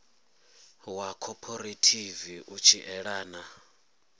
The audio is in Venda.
wa khophorethivi u tshi elana